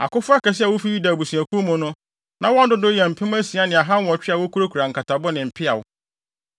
Akofo akɛse a wofi Yuda abusuakuw mu no, na wɔn dodow yɛ mpem asia ne ahanwɔtwe a wokurakura nkatabo ne mpeaw.